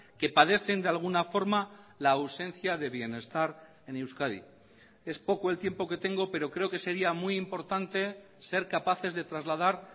que padecen de alguna forma la ausencia de bienestar en euskadi es poco el tiempo que tengo pero creo que sería muy importante ser capaces de trasladar